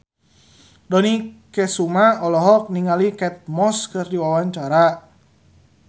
Dony Kesuma olohok ningali Kate Moss keur diwawancara